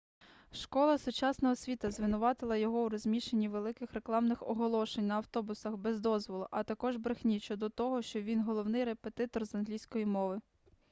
школа сучасна освіта звинуватила його у розміщенні великих рекламних оголошень на автобусах без дозволу а також брехні щодо того що він головний репетитор з англійської мови